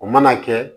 O mana kɛ